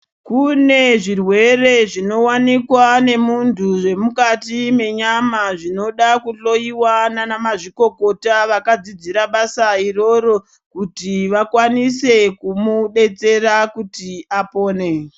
Kune zvirwere zvinowanikwa nemunthu zvemukati menyama zvinoda kuhloyiwa nana mazvikokota vakadzidzira basa iroro kuti vakwanise kumudetsera kuti apone.